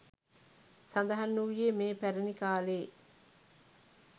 සඳහන් වූයේ මෙය පැරැණි කාලයේ